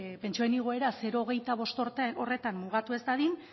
pentsioen igoera zero koma hogeita bost horretan mugatu ez dadin